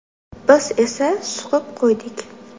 Biz esa suqib qo‘ydik.